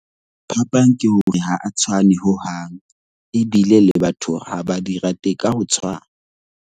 Phapang ke hore ha a tshwane hohang, ebile le batho hore ha ba di rate ka ho tshwana.